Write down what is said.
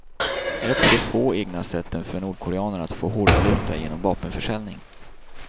Ett av de få egna sätten för nordkoreanerna att få hårdvaluta är genom vapenförsäljning.